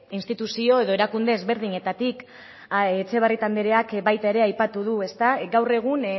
instituzio edo erakunde ezberdinetatik etxebarrieta andreak baita ere aipatu du ezta gaur egun